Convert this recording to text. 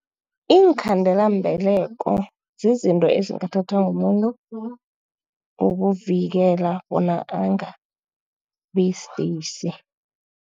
Iinkhandelambeleko zizinto ezingathathwa mumuntu ukuvikela bona angabi sidisi.